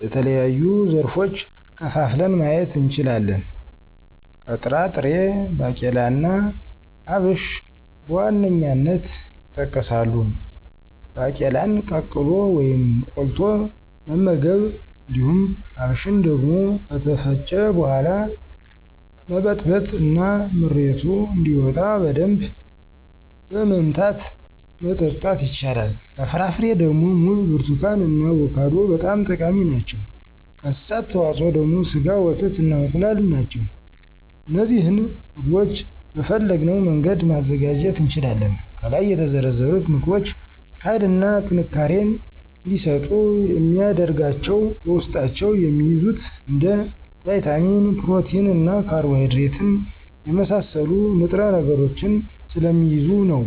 በተለያዩ ዘርፎች ከፋፍለን ማየት እንችላለን። ከጥራጥሬ ባቄላና አብሽ በዋነኛነት ይጠቀሳሉ። ባቄላን ቀቅሎ ወይም ቆልቶ መመገብ። እንዲሁም አብሽን ደግሞ ከተፈጨ በሗላ መበጥበጥ እና ምሬቱ እንደወጣ በደንብ በመምታት መጠጣት ይቻላል። ከፍራፍሬ ደግሞ ሙዝ፣ ብርቱካን እና አቮካዶ በጣም ጠቃሚ ናቸው። ከእንስሳት ተዋጽኦ ደግሞ ስጋ፣ ወተት እና እንቁላል ናቸው። እነዚህን ምግቦች በፈለግነው መንገድ ማዘጋጀት እንችላለን። ከላይ የተዘረዘሩት ምግቦች ሀይልና ጥንካሬን እንዲሰጡ የሚያደርጋቸው በውስጣቸው የሚይዙት እንደ ቫይታሚን፣ ፕሮቲን እና ካርቦሀይድሬትን የመሳሰሉ ንጥረ ነገሮችን ስለሚይዙ ነው።